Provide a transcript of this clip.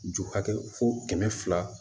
Ju hakɛ fo kɛmɛ fila